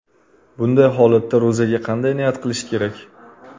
Bunday holatda ro‘zaga qanday niyat qilish kerak?